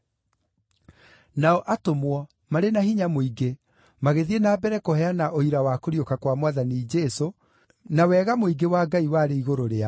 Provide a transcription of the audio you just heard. Nao atũmwo, marĩ na hinya mũingĩ, magĩthiĩ na mbere kũheana ũira wa kũriũka kwa Mwathani Jesũ, na wega mũingĩ wa Ngai warĩ igũrũ rĩao.